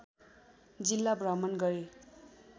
जिल्ला भ्रमण गरे